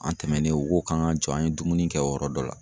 An tɛmɛnen, o ko ko k'an k'an jɔ, an ye dumuni kɛ yɔrɔ dɔ la.